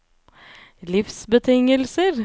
livsbetingelser